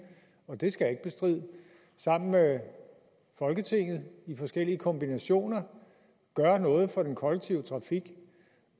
og det skal jeg ikke bestride sammen med folketinget i forskellige kombinationer gør noget for den kollektive trafik